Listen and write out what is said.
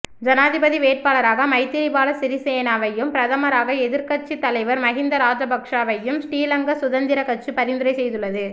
ஜனாதிபதி வேட்பாளராக மைத்திரிபால சிறிசேனவையும் பிரதமராக எதிர்க்கட்சி தலைவர் மஹிந்த ராஜபக்ஷவையும் ஸ்ரீலங்கா சுதந்திர கட்சி பரிந்துரை செய்துள்ளது